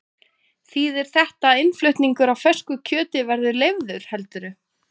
Þýðir þetta að innflutningur á fersku kjöti verði leyfður heldurðu?